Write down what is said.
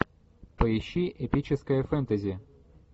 поищи эпическое фэнтези